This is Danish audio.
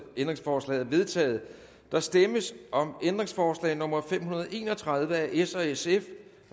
ændringsforslaget er vedtaget der stemmes om ændringsforslag nummer fem hundrede og en og tredive af s og sf